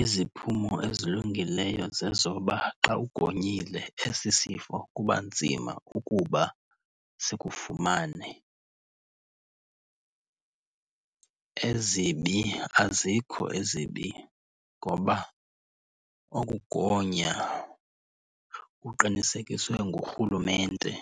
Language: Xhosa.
Iziphumo ezilungileyo zezoba xa ugonyile esi sifo kuba nzima ukuba sikufumane. Ezibi, azikho ezibi ngoba okugonya kuqinisekiswe ngurhulumente